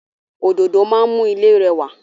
Òdòdó máa ń mú ilé rẹwà.